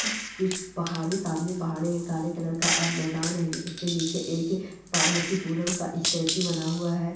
कुछ पहाड़ी सामने पहाड़ें हैं काले कलर का और मैदान हैं इसके नीचे एक पार्वती पुरम का इस्टेचुउ बना हुआ हैं ।